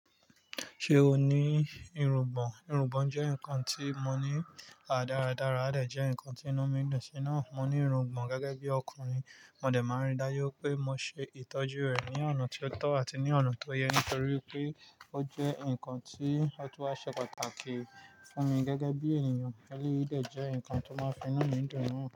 Ṣé o ní irungbọ̀n? Irungbọ̀n jẹ́ ǹkan tí mo ní à dáradára, àdẹ̀ jẹ́ ǹkan tí inú mi dùn sí náà. Mo ní irungbọ̀n gẹ́gẹ́ bí ọkùnrin, mo dẹ̀ máa n rí i dájú pé mo ṣe ìtọ́jú rẹ̀ ní ọ̀nà tó tọ́ àti ní ọ̀nà tó yẹ nítorí pé ó jẹ́ ǹkan tí ọtún wá ṣe pàtàkì fún mi gẹ́gẹ́ bí ènìyàn. Élè yí dẹ̀ jẹ́ ǹkan tó máa n fi inu mi dùn náà.